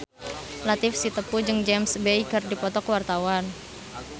Latief Sitepu jeung James Bay keur dipoto ku wartawan